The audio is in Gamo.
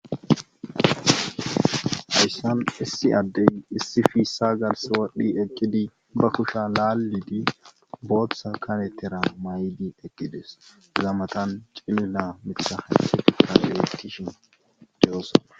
Ayssan issi addey issi fiissa gals wadhdhi eqqidi ba kusha laallidi boothtsa kanettera maydi eqqides zamatan cilila mittha hasheti kalalettishin derosa.